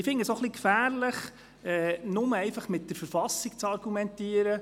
Ich halte es auch für etwas gefährlich, nur mit der Verfassung zu argumentieren.